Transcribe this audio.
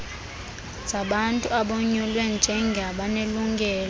zabantu abonyulwe njengabanelungelo